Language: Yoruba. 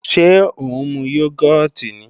Ṣé ó ń mu yógọ́ọ̀tì ni?